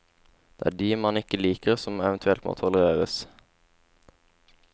Det er de man ikke liker som eventuelt må tolereres.